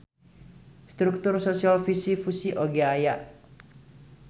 Struktur sosial fisi-fusi oge aya.